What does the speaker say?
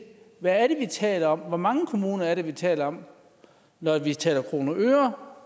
hvad det er vi taler om og hvor mange kommuner vi taler om når vi taler kroner og øre